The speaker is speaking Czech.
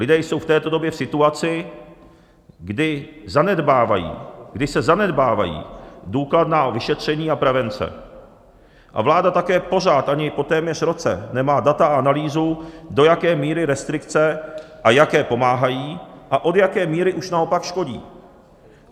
Lidé jsou v této době v situaci, kdy se zanedbávají důkladná vyšetření a prevence a vláda také pořád ani po téměř roce nemá data a analýzu, do jaké míry restrikce a jaké pomáhají a od jaké míry už naopak škodí.